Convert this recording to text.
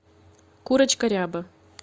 курочка ряба